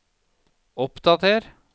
oppdater